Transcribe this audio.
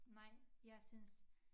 Nej jeg synes